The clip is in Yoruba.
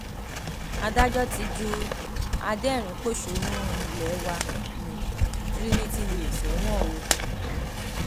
adájọ ti ju adẹrìnínpọṣónú ilé wa nni trinitylay sẹwọn o